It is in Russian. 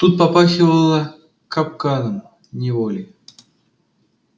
тут попахивало капканом неволей